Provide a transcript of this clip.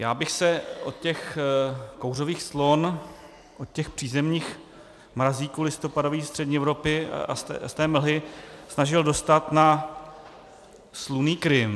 Já bych se od těch kouřových clon, od těch přízemních mrazíků listopadových střední Evropy a z té mlhy snažil dostat na slunný Krym.